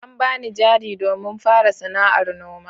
An bani jari domin fara sana'ar noma.